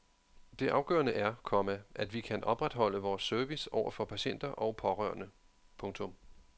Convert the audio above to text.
Det afgørende er, komma at vi kan opretholde vores service over for patienter og pårørende. punktum